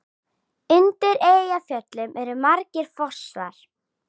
Undir Eyjafjöllum eru margir fossar.